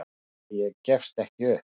En ég gefst ekki upp.